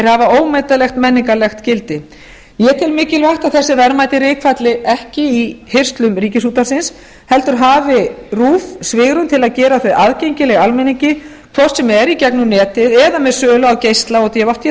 hafa ómetanlegt menningarlegt gildi ég tel mikilvægt að þessi verðmæti rykfalli ekki í hirslum ríkisútvarpsins heldur hafi rúv svigrúm til að gera þau aðgengileg almenningi hvort sem er í gegnum netið eða með sölu á geisla og dvd